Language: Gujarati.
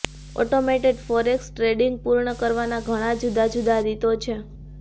ઓટોમેટેડ ફોરેક્સ ટ્રેડિંગ પૂર્ણ કરવાના ઘણા જુદા જુદા રીતો છે